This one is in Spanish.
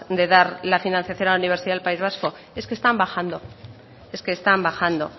de dar la financiación a la universidad del país vasco es que están bajando es que están bajando